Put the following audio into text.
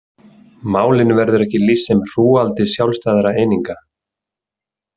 Málinu verður ekki lýst sem hrúgaldi sjálfstæðra eininga.